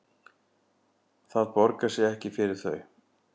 Það borgar sig ekki fyrir þau